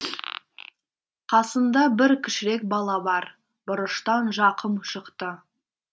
қасында бір кішірек бала бар бұрыштан жақым шықты